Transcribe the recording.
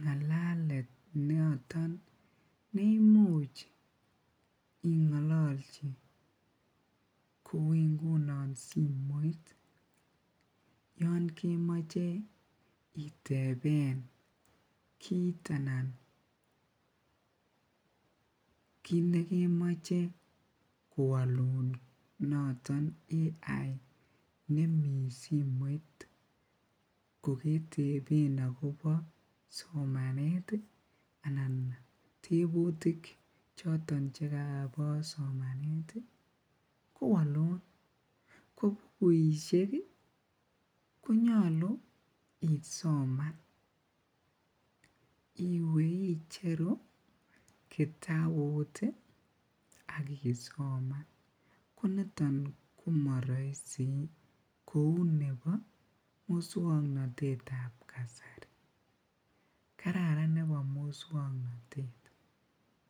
ngalalet noton neimuch ingololchi kouu ingunon simoit yoon kemoche iteben kiit anan kiit nekemoche kowolun noton AI nemii simoit ko keteben akobo somanet anan tebutik choton chekobo somanet kowolun, ko bukuishek konyolu isoman iwee icheru kitabut ak isoman, koniton komoroisi kouu nebo muswoknotetab kasari, kararan nebo muswoknotet.